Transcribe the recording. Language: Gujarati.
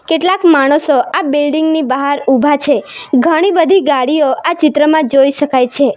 કેટલાક માણસો આ બિલ્ડીગ ની બહાર ઉભા છે ઘણી બધી ગાડીઓ આ ચિત્રમાં જોઈ શકાય છે.